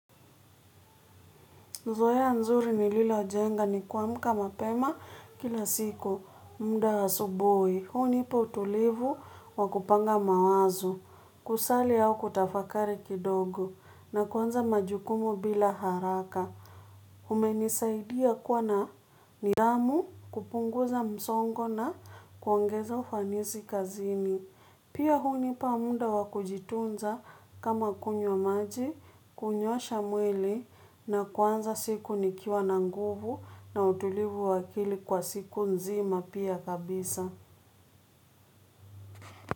Zoea nzuri nililojenga ni kuamka mapema kila siku. Muda wa asubuhi. Hunipa utulivu wa kupanga mawazo. Kusali au kutafakari kidogo. Na kuanza majukumu bila haraka. Umenisaidia kwa na nihamu kupunguza msongo na kuongeza ufanisi kazini. Pia hunipa muda wa kujitunza kama kunywa maji, kunyoosha mwili na kuanza siku nikiwa na nguvu na utulivu wa akili kwa siku nzima pia kabisa.